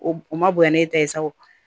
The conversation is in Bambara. O o ma bonya ni e ta ye sa o